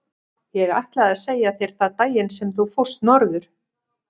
Ég ætlaði að segja þér það daginn sem þú fórst norður.